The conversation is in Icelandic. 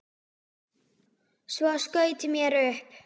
Svo skaut mér upp.